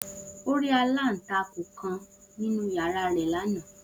O ri alantakun kan ninu yara rẹ lana.